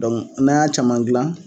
Dɔnku n'an' y'a caman gilan